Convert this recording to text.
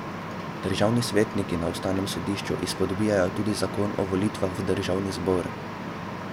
Državni svetniki na ustavnem sodišču izpodbijajo tudi zakon o volitvah v državni zbor.